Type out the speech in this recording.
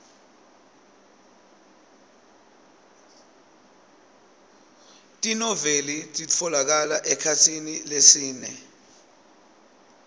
tinoueli titfolokala ekhasini lesine